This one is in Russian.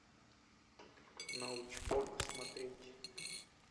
научпок смотреть